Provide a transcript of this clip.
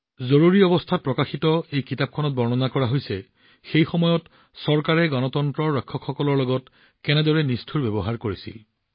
জৰুৰীকালীন সময়ত প্ৰকাশিত এই গ্ৰন্থখনত বৰ্ণনা কৰা হৈছে যে সেই সময়ত চৰকাৰে গণতন্ত্ৰৰ ৰক্ষকসকলৰ প্ৰতি কেনেদৰে আটাইতকৈ নিষ্ঠুৰ ব্যৱহাৰ কৰিছিল